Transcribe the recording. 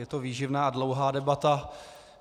Je to výživná a dlouhá debata.